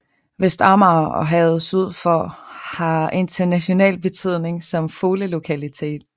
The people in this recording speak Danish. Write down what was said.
Vestamager og havet syd for har international betydning som fuglelokalitet